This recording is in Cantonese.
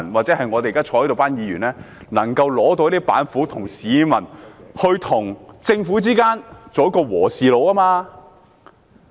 席上的議員也不妨拿出板斧，當市民和政府之間的"和事佬"。